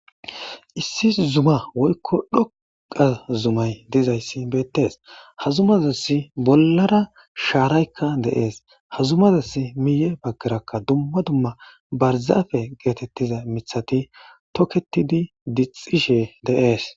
Issi zuma woykko dhoqqa zuma dizaysi beetees. Ha zumazas bollara shaaraykka de'ees. Ha zumazas miyye baggarakka dumma dumma barzafe geetettiza miththati tokettidi diccishe de'ees.